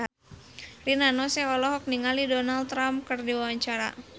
Rina Nose olohok ningali Donald Trump keur diwawancara